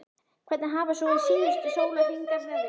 Hvernig hafa svo síðustu sólarhringar verið?